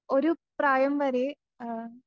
ഒരു പ്രായം വരെ ആ